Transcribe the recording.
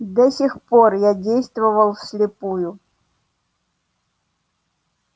до сих пор я действовал вслепую